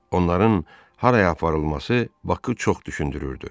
Onların haraya aparılması Bakı çox düşündürürdü.